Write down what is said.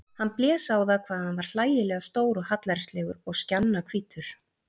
Hann blés á það hvað hann var hlægilega stór og hallærislegur og skjannahvítur.